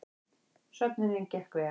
Söfnunin gekk vel